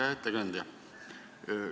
Hea ettekandja!